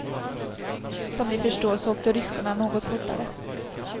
Som ni förstår så åkte ryskorna något fortare.